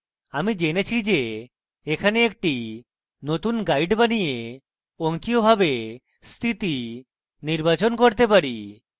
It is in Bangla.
আমি জেনেছি যে এখানে একটি নতুন guide বানিয়ে অঙ্কীয়ভাবে স্থিতি নির্বাচন করতে পারি